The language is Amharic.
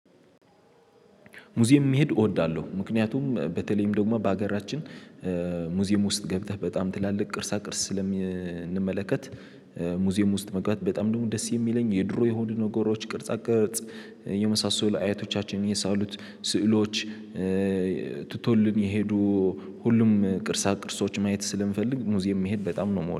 ሙዚየም መሄድ እወዳለሁ ምክንያቱም በተለይም ደግሞ በሀገራችን ሙዚየም ውስጥ ገብተህ በጣም ትላልቅ ቅርሳ ቅርስ ስለምንመለከት። ሙዚየም ውስጥ መግባት በጣም ደግሞ ደስ የሚለኝ የድሮ የሆኑ ነገሮች ቅርጻ ቅርጽ የመሳሰሉ አያቶቻችንን የሳሉት ስዕሎች። ትቶልን የሄዱ ሁሉም ቅርሳ ቅርሶች ማየት ስለምፈልግ ሙዚየም መሄድ በጣም ነው የምወደው